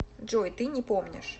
джой ты не помнишь